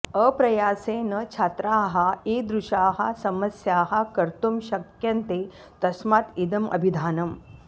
अप्रयासेन छात्राः इदृशाः समस्याः कर्तुं शक्यन्ते तस्मात् इदम् अभिधानम्